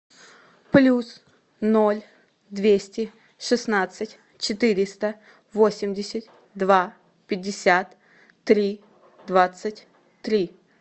плюс ноль двести шестнадцать четыреста восемьдесят два пятьдесят три двадцать три